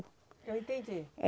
Eu entendi.